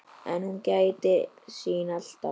En hún gætir sín alltaf.